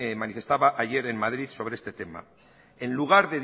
manifestaba ayer en madrid sobre este tema en lugar